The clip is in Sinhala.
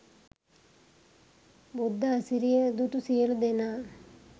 බුද්ධ අසිරිය දුටු සියලු දෙනා